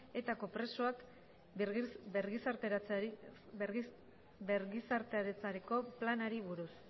etako presoak birgizarteratzeko planari buruz